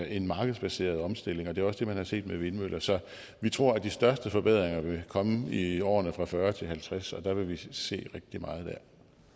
en markedsbaseret omstilling og det er også det man har set med vindmøller så vi tror at de største forbedringer komme i årene to og fyrre til halvtreds og der vil vi se rigtig meget der